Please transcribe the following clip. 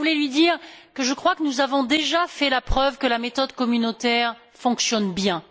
D'abord, je voulais lui dire que je crois que nous avons déjà fait la preuve que la méthode communautaire fonctionne bien.